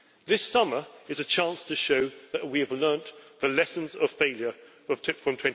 This summer is a chance to show that we have learned the lessons of failure from